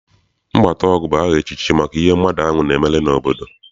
Mgbataọgụ bụ aha echichi maka ihe mmadụ ahụ na-emere obodo.